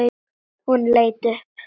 Hún leit upp.